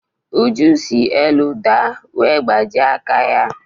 Uju si elu daa wee gbajie aka ya.